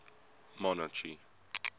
monarchy